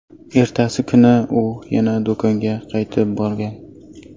Ertasi kuni u yana do‘konga qaytib borgan.